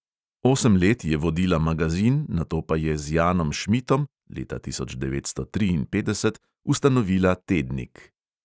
Osem let je vodila magazin, nato pa je z janom šmitom (leta tisoč devetsto triinpetdeset) ustanovila tednik.